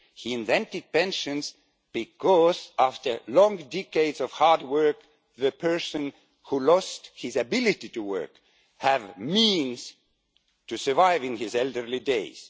He invented pensions so that, after long decades of hard work, the person who has lost his ability to work will have the means to survive in his elderly days.